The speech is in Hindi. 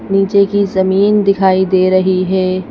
नीचे की जमीन दिखाई दे रही है।